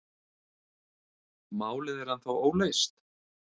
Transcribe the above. Málið er ennþá óleyst?